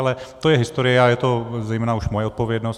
Ale to je historie a je to zejména už moje odpovědnost.